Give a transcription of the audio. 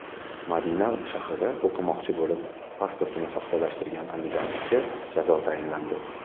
Madina shahrida o‘qimoqchi bo‘lib pasportini soxtalashtirgan andijonlikka jazo tayinlandi.